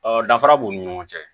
Ɔ danfara b'u ni ɲɔgɔn cɛ